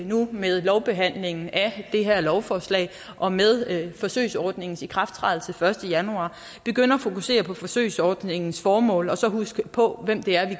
nu med lovbehandlingen af det her lovforslag og med forsøgsordningens ikrafttrædelse den første januar begynder at fokusere på forsøgsordningens formål og så husker på hvem det er